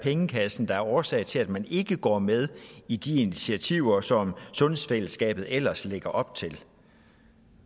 pengekassen der er årsag til at man ikke går med i de initiativer som sundhedsfællesskabet ellers lægger op til